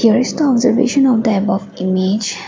here is the observation of the above image.